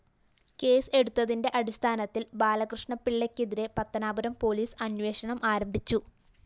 case എടുത്തതിന്റെ അടിസ്ഥാനത്തില്‍ ബാലകൃഷ്ണപിള്ളക്കെതിരെ പത്തനാപുരം പോലീസ് അന്വേഷണം ആരംഭിച്ചു